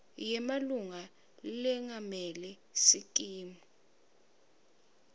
yemalunga lengamele sikimu